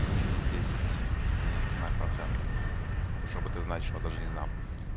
минус десять и знак процента чтобы это значило даже не знаю